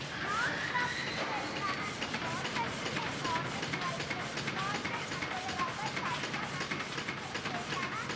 non crop food യിൽ വരുന്നതാണ് cotton അല്ലെ cotton എന്നുപറയുന്നത് cotton അതുപോലെ rubber, fiber, jute വരുന്നത്തേതിലാണ്